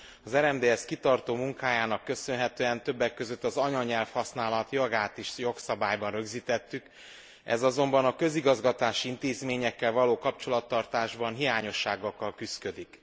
Az RMDSZ kitartó munkájának köszönhetően többek között az anyanyelvhasználat jogát is jogszabályban rögzítettük, ez azonban a közigazgatási intézményekkel való kapcsolattartásban hiányosságokkal küszködik.